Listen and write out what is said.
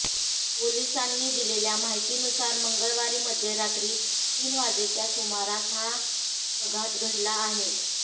पोलिसांनी दिलेल्या माहितीनुसार मंगळवारी मध्यरात्री तीन वाजेच्या सुमारास हा पघात घडला आहे